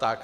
Tak.